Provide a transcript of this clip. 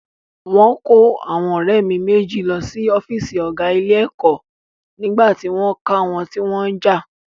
Wọ́n kó àwọn ọ̀rẹ́ mi méjì lọ sí ọ́fíìsì ọ̀gá ilé-ẹ̀kọ́ nígbà tí wọ́n ká wọn tí wọ́n ń jà.